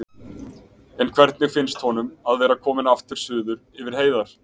En hvernig finnst honum að vera kominn aftur suður yfir heiðar?